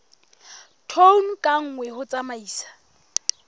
tone ka nngwe ho tsamaisa